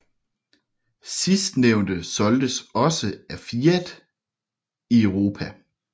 Sidstnævnte solgtes også af Fiat i Europa